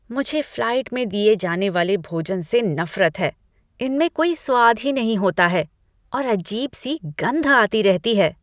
मुझे फ्लाइट में दिए जाने वाले भोजन से नफरत है। इनमें कोई स्वाद ही नहीे होता है और अजीब सी गंध आती रहती है।